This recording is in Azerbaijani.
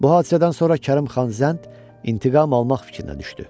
Bu hadisədən sonra Kərim xan Zənd intiqam almaq fikrinə düşdü.